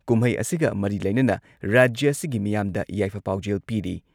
ꯀꯨꯝꯍꯩ ꯑꯁꯤꯒ ꯃꯔꯤ ꯂꯩꯅꯅ ꯔꯥꯖ꯭ꯌ ꯑꯁꯤꯒꯤ ꯃꯤꯌꯥꯝꯗ ꯌꯥꯏꯐ ꯄꯥꯎꯖꯦꯜ ꯄꯤꯔꯤ ꯫